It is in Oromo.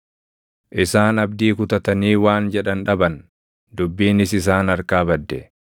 “Isaan abdii kutatanii waan jedhan dhaban; dubbiinis isaan harkaa badde.